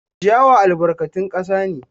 Ciyawa albarkatun kasa ne.